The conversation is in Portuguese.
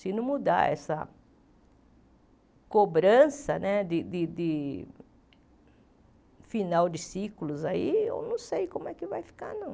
Se não mudar essa cobrança né de de de final de ciclos aí, eu não sei como é que vai ficar, não.